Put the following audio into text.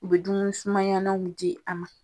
U be dumu sumayananw di a ma.